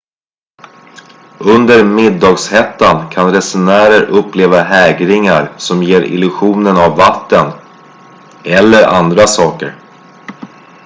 under middagshettan kan resenärer uppleva hägringar som ger illusionen av vatten eller andra saker